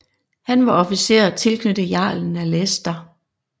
Han var officer tilknyttet jarlen af Leicester